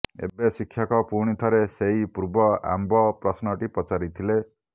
ଏବେ ଶିକ୍ଷକ ପୁଣିଥରେ ସେଇ ପୂର୍ବ ଆମ୍ବ ପ୍ରଶ୍ନଟି ପଚାରିଲେ